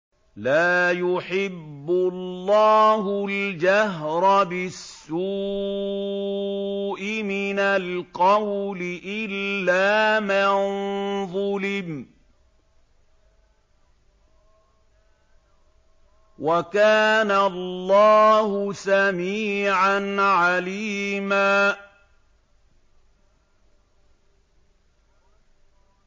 ۞ لَّا يُحِبُّ اللَّهُ الْجَهْرَ بِالسُّوءِ مِنَ الْقَوْلِ إِلَّا مَن ظُلِمَ ۚ وَكَانَ اللَّهُ سَمِيعًا عَلِيمًا